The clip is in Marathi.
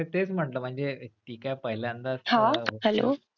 नाही तेच म्हंटल म्हणजे ती काय पहिल्यांदाच hostel ला.